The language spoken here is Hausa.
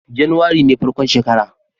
Januwari ne farkon shekara